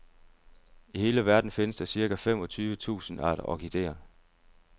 I hele verden findes der cirka femogtyve tusind arter orkidéer.